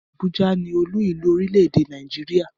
Abuja ni olú-ìlú orílẹ̀-èdè Nàìjíríà